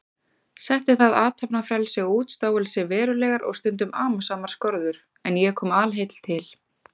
Setti það athafnafrelsi og útstáelsi verulegar og stundum amasamar skorður, en ég kom alheill til